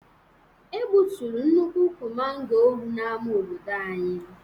E gbuturu nnukwu ukwu mango wu n'ama obodo anyị.